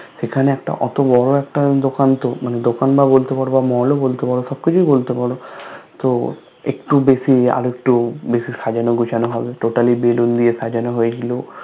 এখানে একটা ওতো বড় একটা দোকান তো মানে দোকান বা বলতে পারো বা Mall ও বলতে পারো সবকিছুই বলতে পারো তো একটু বেশি আরেকটু বেশি সাজানো গুছানো হবে TotallyBallon দিয়ে সাজানো হয়েছিল